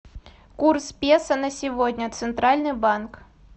курс песо на сегодня центральный банк